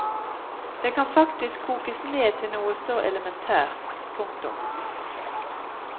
Det kan faktisk kokes ned til noe så elementært. punktum